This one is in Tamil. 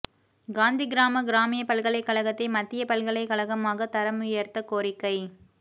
காந்திகிராம கிராமிய பல்கலைக் கழகத்தை மத்திய பல்கலைக் கழகமாக தரம் உயர்த்த கோரிக்கை